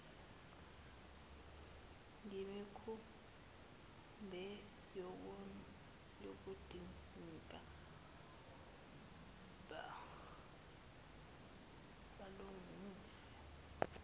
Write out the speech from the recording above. ngemikhumbi kuyodingeka balungise